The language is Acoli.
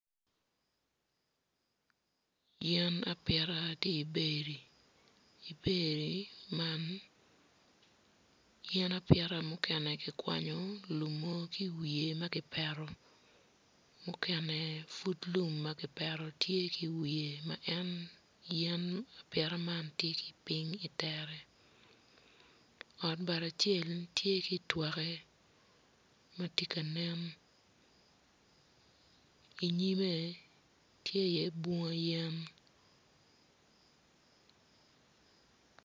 Yen apita tye ibedi ibedi man yen apita mukene kikwanyo lumo ma kipeto mukene pud lum ma kipeto tye ki iwiye ma en yen apita man tye ki piny itere ot bati acel tye ki itwokke ma tye ka nen inyime tye iye bunga yen.